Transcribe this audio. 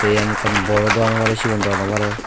yen ekkan bor dogano oi parei sigon dogan oi parei.